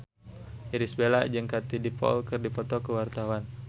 Irish Bella jeung Katie Dippold keur dipoto ku wartawan